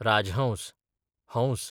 राजहंस, हंस